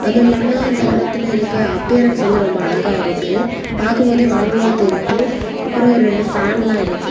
அதுவுமில்லாம அந்த இடத்துல இருக்குற அப்பியரன்ஸ் வந்து ரொம்ப அழகா இருக்கு பாக்கும்போது வாங்கணும் தெரிது அப்புறொ ரெண்டு பேன்ல இருக்கு.